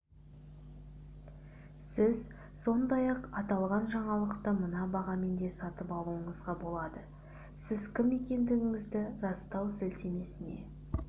сіз сондай-ақ аталған жаңалықты мына бағамен де сатып алуыңызға болады сіз кім екендігіңізді растау сілтемесіне